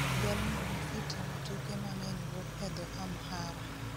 Jalno mositimo tuke mang'eny wuok e dho Amhara